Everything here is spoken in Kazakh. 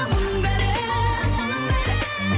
мұның бәрі мұның бәрі